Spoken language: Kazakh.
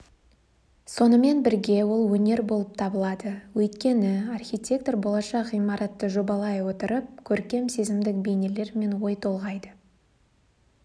сонымен бірге ол өнер болып табылады өйткені архитектор болашақ ғимаратты жобалай отырып көркем сезімдік бейнелермен ой толғайды